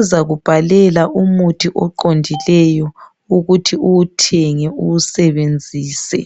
uzakubhalela umuthi oqondileyo ukuthi uwuthenge uwusebenzise.